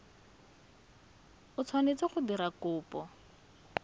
o tshwanetseng go dira kopo